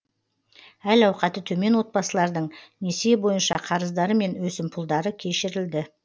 әл ауқаты төмен отбасылардың несие бойынша қарыздары мен өсімпұлдары кешірілді